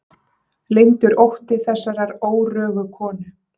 Leyndur ótti þessarar órögu konu.